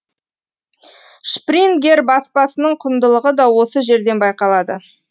шпрингер баспасының құндылығы да осы жерден байқалады